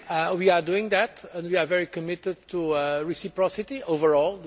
We are doing that and we are very committed to reciprocity above all.